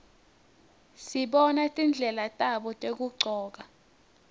sibona tindlela tabo tekugcoka